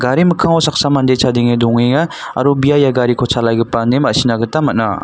gari mikango saksa mande chadenge dongenga aro bia ia gariko chalaigipa ine masina man·a.